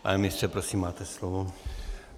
Pane ministře, prosím, máte slovo.